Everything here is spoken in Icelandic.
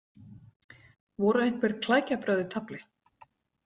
Voru einhver klækjabrögð í tafli?